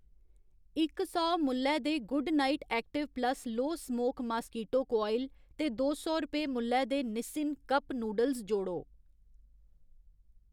इक सौ मुल्लै दे good night active plus low smoke mosquito coil ते दो सौ रपेऽ मुल्लै दे निसिन कप नूडल्स जोड़ो।